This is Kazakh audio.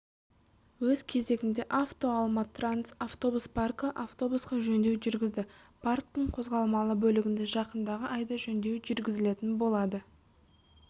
өз кезегінде автоалма-транс автобус паркі автобусқа жөндеу жүргізді парктің қозғалмалы бөлігіне жақындағы айда жөндеу жүргізілетін болады